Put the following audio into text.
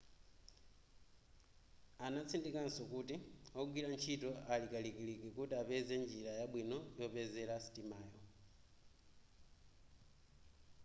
anatsindikanso kuti ogwira ntchito ali kalikiliki kuti apeze njira yabwino yopezera sitimayo